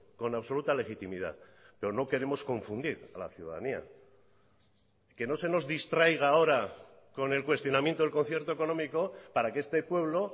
con absoluta legitimidad pero no queremos confundir a la ciudadanía que no se nos distraiga ahora con el cuestionamiento del concierto económico para que este pueblo